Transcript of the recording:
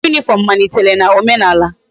Uwe uniform malitere na omenala